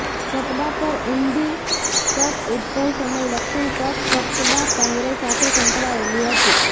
કપડાં પર ઊંડી કટ ઉદભવ સમય લક્ષણ કટ કપડાં પહેરે સાથે સંકળાયેલી હતી